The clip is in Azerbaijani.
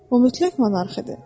O mütləq monarx idi.